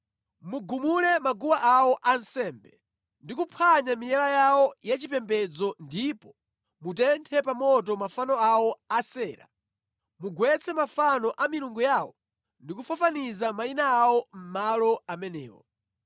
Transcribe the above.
Mugumule maguwa awo ansembe, ndi kuphwanya miyala yawo yachipembedzo ndipo mutenthe pa moto mafano awo a Asera: mugwetse mafano a milungu yawo ndi kufafaniza mayina awo mʼmalo amenewo.